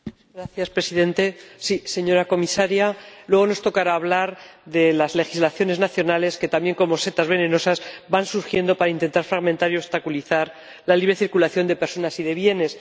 Señor Presidente, señora Comisaria, luego nos tocará hablar de las legislaciones nacionales, que también como setas venenosas van surgiendo para intentar fragmentar y obstaculizar la libre circulación de personas y de bienes.